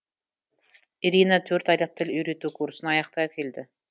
ирина төрт айлық тіл үйрету курсын аяқтай келді